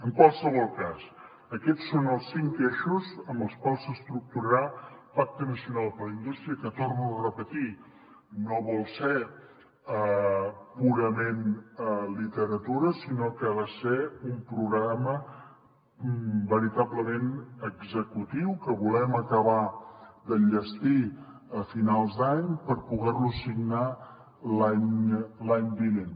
en qualsevol cas aquests són els cinc eixos amb els quals s’estructurarà el pacte nacional per la indústria que ho torno a repetir no vol ser purament literatura sinó que ha de ser un programa veritablement executiu que volem acabar d’enllestir a finals d’any per poder lo signar l’any vinent